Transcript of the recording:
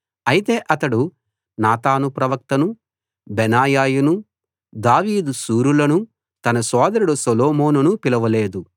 అయితే అతడు నాతాను ప్రవక్తనూ బెనాయానూ దావీదు శూరులనూ తన సోదరుడు సొలొమోనునూ పిలవలేదు